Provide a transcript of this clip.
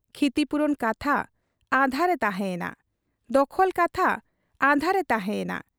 ᱠᱷᱤᱛᱤᱯᱩᱨᱚᱱ ᱠᱟᱛᱷᱟ ᱟᱫᱷᱟᱨᱮ ᱛᱟᱷᱮᱸ ᱮᱱᱟ, ᱫᱚᱠᱷᱚᱞ ᱠᱟᱛᱷᱟ ᱟᱫᱷᱟᱨᱮ ᱛᱟᱦᱮᱸ ᱮᱱᱟ ᱾